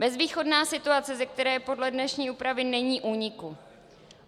Bezvýchodná situace, ze které podle dnešní úpravy není úniku.